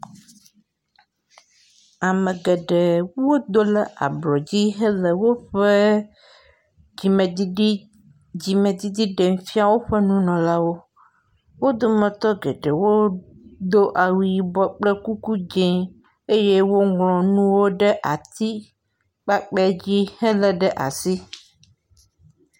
Ame geɖe wo do ɖe ablɔ dzi hele woƒe dzimedid dzimdidi ɖem fia woƒe nunɔlawo. Wo dometɔ geɖe wo do awu yibɔ kple kuku dzi eye woŋlɔ nuwo ɖe atiskpakpɛ dzi hele ɖe asi.